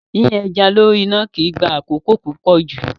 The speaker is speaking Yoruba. Yíyan ẹja lórí iná kì í gba àkókò púpọ̀ jù.